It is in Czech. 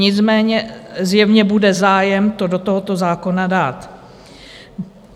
Nicméně zjevně bude zájem to do tohoto zákona dát.